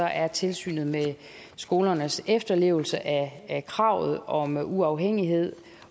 er tilsynet med skolernes efterlevelse af kravet om uafhængighed